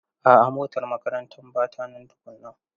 A'a motar makarantar ba ta nan tukunan.